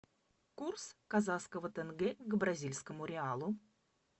курс казахского тенге к бразильскому реалу